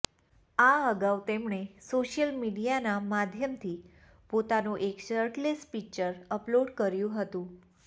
આ અગાઉ તેમણે સોશિયલ મીડિયાના માધ્યમથી પોતાનો એક શર્ટલેસ પિક્ચર અપલોડ કર્યુ હતું